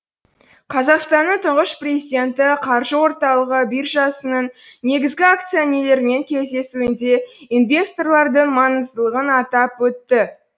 қазақстанның тұңғыш президенті қаржы орталығы биржасының негізгі акционерлерімен кездесуінде инвесторлардың маңыздылығын атап өтті